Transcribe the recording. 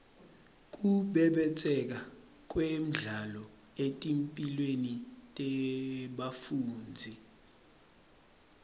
kubhebhetseka kwendlala etimphilweni tebafundzi